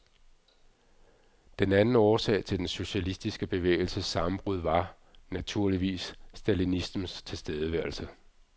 Den anden årsag til den socialistiske bevægelses sammenbrud var, naturligvis, stalinismens tilstedeværelse.